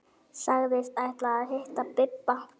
Sagðist ætla að hitta Bibba.